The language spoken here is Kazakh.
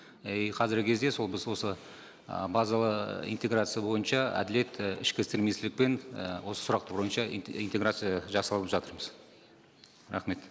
и қазіргі кезде сол біз осы і базалы ы интеграция бойынша әділет і ішкі істер министрлікпен і осы сұрақтар бойынша интеграция жасалып жатырмыз рахмет